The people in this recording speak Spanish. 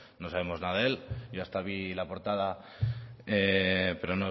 no sabemos nada de él yo hasta vi la portada pero